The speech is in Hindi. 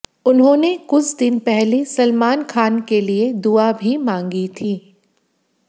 उन्होंने कुछ दिन पहले सलमान खान के लिए दुआ भी मांगी थी